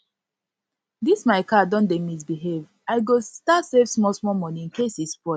this my car don dey misbehave i go start save small small money incase e spoil